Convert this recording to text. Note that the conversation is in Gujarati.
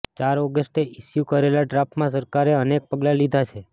ચાર ઓગસ્ટે ઇશ્યૂ કરેલા ડ્રાફટમાં સરકારે અનેક પગલાં લીધા છે